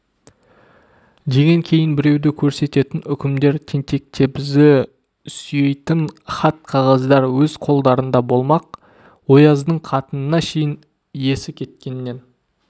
деген кейін біреуді көрсететін үкімдер тентек-тебізді сүйейтін хат-қағаздар өз қолдарында болмақ ояздың қатынына шейін есі кеткеннен